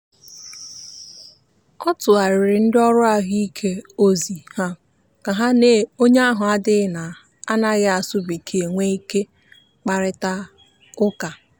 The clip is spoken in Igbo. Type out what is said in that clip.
ọ tụgharịara ndị ọrụ ahụike ozi ka ha na onye ahụ adịghị na-anaghị asụ bekee nwee ike kparịta ụka.